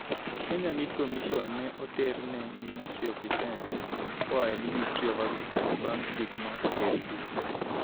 Kenya Meat Commission ne oter ne Ministry of Defence koa e Ministry of Agriculture bang' chik mar Ker Uhuru Kenyatta.